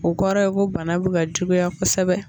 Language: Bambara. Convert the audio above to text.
O kɔrɔ ye ko bana bɛ ka juguya kosɛbɛ